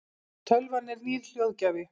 tölvan er nýr hljóðgjafi